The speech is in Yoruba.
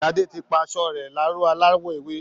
Sade ti pa aṣọ rẹ̀ láró aláwọ̀ ewé